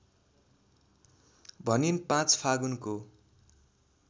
भनिन् ५ फागुनको